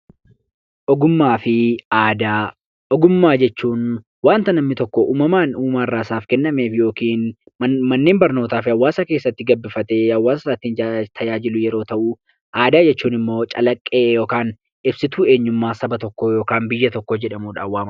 Ogummaa fi aadaa Ogummaa jechuun Wanta namni tokko uumamaan uumaarraa isaaf kennameef yookiin manneen barnootaa fi hawaasa keessatti gabbifatee hawaasasaa ittiin tajaajilu yeroo ta'u, aadaa jechuun immoo calaqqee (ibsituu) eenyummaa saba tokkoo (biyya tokkoo) jedhamuudhaan wamamu.